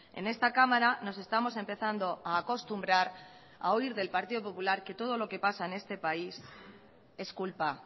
en esta cámara nos estamos empezando a acostumbrar a oír del partido popular que todo lo que pasa en este país es culpa